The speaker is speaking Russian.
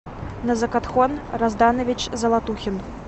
назакатхон разданович золотухин